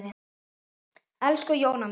Elsku Jóna mín.